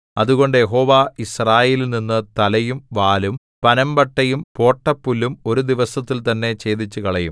അതുകൊണ്ട് യഹോവ യിസ്രായേലിൽനിന്നു തലയും വാലും പനമ്പട്ടയും പോട്ടപ്പുല്ലും ഒരു ദിവസത്തിൽ തന്നെ ഛേദിച്ചുകളയും